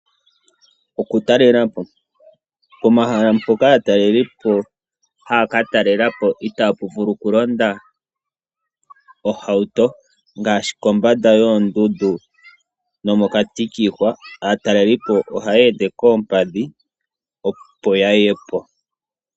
Okutalelapo. Omahala mpoka aatalelipo haya katalelapo itaa puvulu okulonda ohauto ngaashi kombanda yoondundu nomokati kiihwa. Aatalelipo ohaya ende koompadhi opo yayepo.